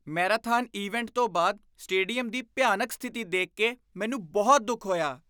Marathon event ਤੋਂ ਬਾਅਦ stadium ਦੀ ਭਿਆਨਕ ਸਥਿਤੀ ਦੇਖ ਕੇ ਮੈਨੂੰ ਬਹੁਤ ਦੁੱਖ ਹੋਇਆ।